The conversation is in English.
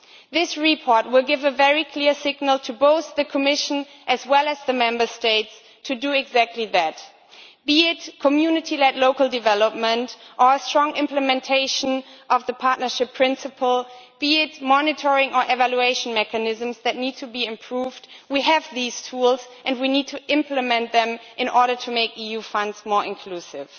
This report will give a very clear signal to both the Commission and the Member States to do exactly that. Be it community led local development or strong implementation of the partnership principle, or be it monitoring our evaluation mechanisms that need to be improved, we have these tools and we need to implement them in order to make EU funds more inclusive.